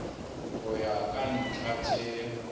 ho ya ka dintlha tse